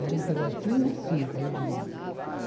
Era um pedacinho assim para eu dormir.